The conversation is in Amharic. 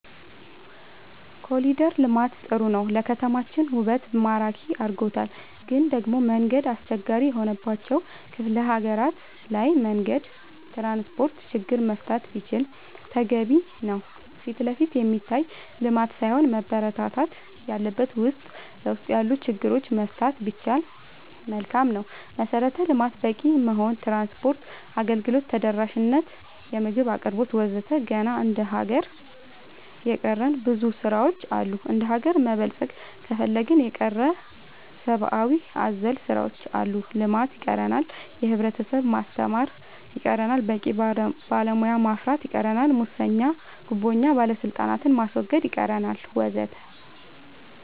ኮሊደር ልማት ጥሩ ነው ለከተማችን ውበት ማራኪ አርጎታል ግን ደሞ መንገድ አስቸጋሪ የሆነባቸው ክፍለ ሀገራት ላይ መንገድ ትራንስፖርት ችግር መፈታት ቢችል ተገቢ ነው ፊትለፊት የሚታይ ልማት ሳይሆን መበረታታት ያለበት ውስጥ ለውስጥ ያሉ ችግሮች መፍታት ቢቻል መልካም ነው መሰረተ ልማት በቂ መሆን ትራንስፓርት አገልግሎት ተደራሽ ነት የምግብ አቅርቦት ወዘተ ገና እንደ ሀገር የቀረን ብዙ ስራ ዎች አሉ እንደሀገር መበልፀግ ከፈለግን የቀረን ሰባአዊ አዘል ስራዎች አሉ ልማት ይቀረናል የህብረተሰብ ማስተማር ይቀረናል በቂ ባለሙያ ማፍራት ይቀረናል ሙሰኛ ጉቦኛ ባለስልጣናት ማስወገድ ይቀረናል ወዘተ